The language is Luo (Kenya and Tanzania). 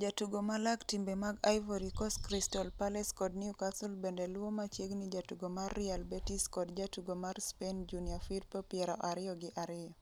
jatugo ma lak timbe mag Ivory Coast Crystal Palace kod Newcastle bende luwo machiegni jatugo mar Real Betis kod jatugo mar Spain Junior Firpo 22.